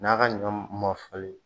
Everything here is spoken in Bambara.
N'a ka ɲɔ ma falen